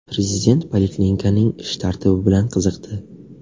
Prezident poliklinikaning ish tartibi bilan qiziqdi.